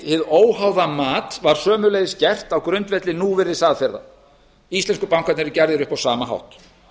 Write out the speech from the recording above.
hið óháða mat var sömuleiðis gert á grundvelli núvirðisaðferða íslensku bankarnir gerðir upp á sama hátt